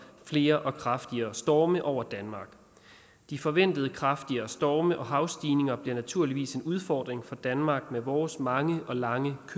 flere og kraftigere storme over danmark de forventede kraftigere storme og havstigninger bliver naturligvis en udfordring for danmark med vores mange og lange